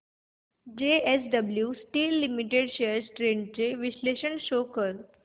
JSW steel limited shares trends चे विश्लेषण show कर